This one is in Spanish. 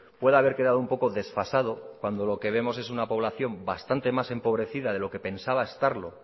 puede haber quedado un poco desfasado cuando lo que vemos es una población bastante más empobrecida de lo que pensaba estarlo